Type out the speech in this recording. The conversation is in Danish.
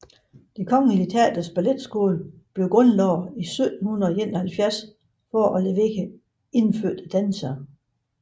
Det Kongelige Teaters Balletskole grundlades 1771 for at levere indfødte dansere